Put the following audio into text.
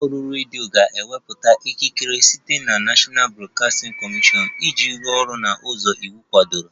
Ụlọ ọrụ redio ga-enweta ikikere site na National Broadcasting Commission iji rụọ ọrụ n'ụzọ iwu kwadoro